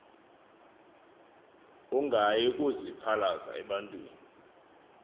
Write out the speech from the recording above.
ungayi kaziphalaza ebantwini